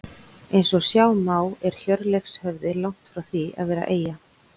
Eins og sjá má er Hjörleifshöfði langt frá því að vera eyja.